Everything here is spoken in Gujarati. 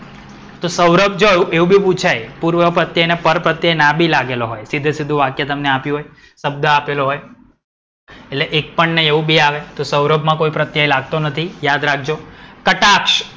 તો સૌરભ એવું બી પૂછાય. પૂર્વપ્રત્યય કે પરપ્રત્યય ના બી લાગેલો હોય સીધેસીધું વાક્ય તમને આપતી હોય. શબ્દ આપેલો હોય. એક પણ નહીં એવું બી આવે સૌરભ માં કોઈ પ્રત્યય લાગતો નથી યાદ રાખજો. કટાક્ષ.